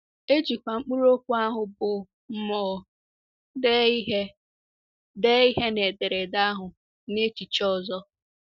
E jikwa mkpụrụ okwu ahụ bụ́ “ mmụọ ” dee ihe dee ihe na ederede ahụ n’echiche ọzọ.